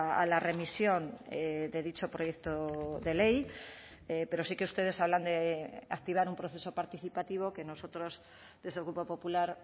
a la remisión de dicho proyecto de ley pero sí que ustedes hablan de activar un proceso participativo que nosotros desde el grupo popular